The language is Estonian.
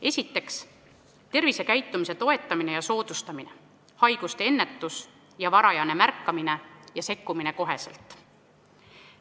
Esiteks, tervisekäitumise toetamine ja soodustamine, haiguste ennetus ja varajane märkamine ning kohene sekkumine.